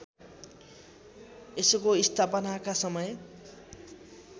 यसको स्थापनाका समय